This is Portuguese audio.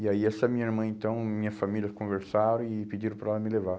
E aí essa minha irmã então, e minha família conversaram e pediram para ela me levar.